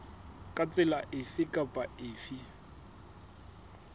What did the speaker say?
ka tsela efe kapa efe